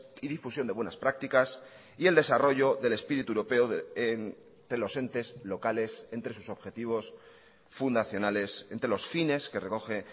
y difusión de buenas prácticas y el desarrollo del espíritu europeo de los entes locales entre sus objetivos fundacionales entre los fines que recoge